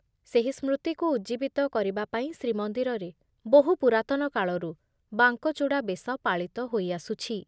ସେହି ସ୍ମୃତିକୁ ଉଜ୍ଜିବିତ କରିବା ପାଇଁ ଶ୍ରୀମନ୍ଦିରରେ ବହୁ ପୂରାତନ କାଳରୁ ବାଙ୍କଚୂଡ଼ା ବେଶ ପାଳିତ ହୋଇ ଆସୁଛି ।